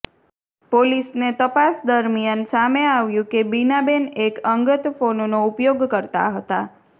પોલીસને તપાસ દરમિયાન સામે આવ્યું કે બીનાબેન એક અંગત ફોનનો ઉપયોગ કરતા હતા